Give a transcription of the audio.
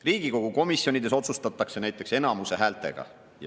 Riigikogu komisjonides näiteks otsustatakse enamuse häältega.